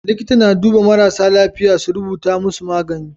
Liƙita na duba marasa lafiya su rubuta musu magani